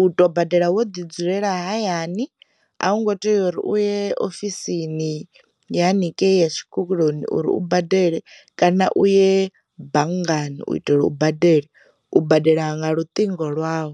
u tou badela wo ḓi dzulela hayani a hu ngo tea uri uye ofisini ya haningei ya tshikoloni uri u badele kana u ye banngani u itela u badela u badela nga luṱingo lwau.